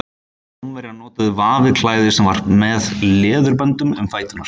Rómverjar notuðu vafið klæði sem var fest með leðurböndum um fæturna.